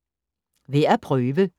Værd at prøve: